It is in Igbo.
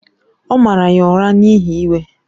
O maara ya ụra n’ihi iwe.